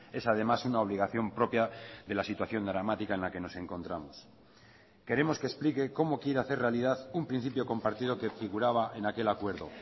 es además una obligación propia de la situación dramática en la que nos encontramos queremos que explique cómo quiere hacer realidad un principiocompartido que figuraba en aquel acuerdo